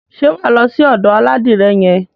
Ṣé wà á lọ sí ọ̀dò aládìrẹ yẹn?